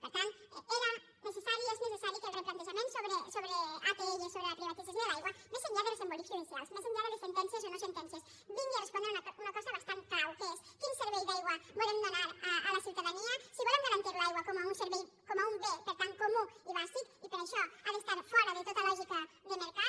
per tant era necessari és necessari que el replantejament sobre atll sobre la privatització de l’aigua més enllà dels embolics judicials més enllà de les sentències o no sentències vingui a respondre una cosa bastant clau que és quin servei d’aigua volem donar a la ciutadania si volem garantir l’aigua com un servei com un bé per tant comú i bàsic i per això ha d’estar fora de tota lògica de mercat